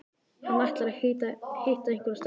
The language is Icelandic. Hann ætlar að hitta einhverja stelpu